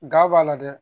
Ga b'a la dɛ